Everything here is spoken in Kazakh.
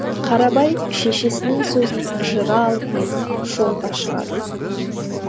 қарабай шешесінің сөзін жыра алмай жолға шығады